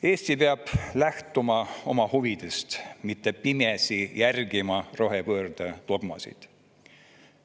Eesti peab lähtuma oma huvidest, mitte pimesi järgima rohepöördedogmasid.